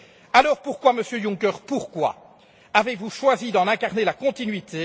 Alors pourquoi, Monsieur Juncker, pourquoi avez vous choisi d'en incarner la continuité?